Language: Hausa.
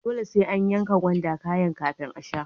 Dole sai an yanka gwanda kayan kafin a sha.